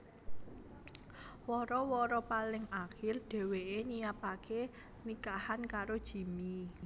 Wara wara paling akir dheweké nyiapaké nikahan karo Jimmy